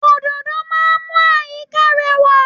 Òdòdó máa ń mú àyíká rẹwà.